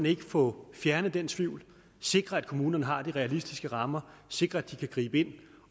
ikke få fjernet den tvivl og sikre at kommunerne har de realistiske rammer sikre at de kan gribe ind